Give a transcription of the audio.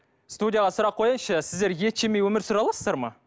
студияға сұрақ қояйыншы сіздер ет жемей өмір сүре аласыздар ма